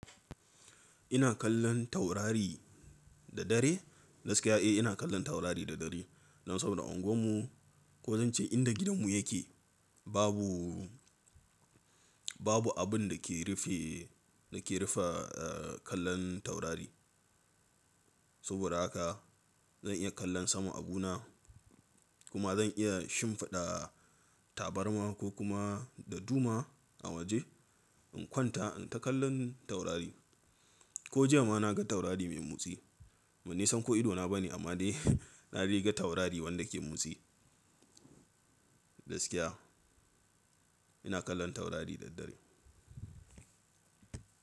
Ina kallon taurari da dare. Gaskiya eh ina kallon taurari da dare. Dan saboda unguwar mu ko zan ce inda gidan mu yake babu, babu abin da ke rufe, da ke rufe kallon taurari. Saboda haka zan iya kallon sama a bu na kuma zan iya shimfiɗa tabarma ko kuma daduma a waje in kwanta in ta kallon taurari. Ko jiya ma na ga taurari mai motsi. Ba ni san ko idona ba ne amma dai na dai ga taurari wanda ke motsi. Gaskiya ina kallon taurari da dare.